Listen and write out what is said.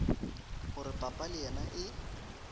gore papa le yena e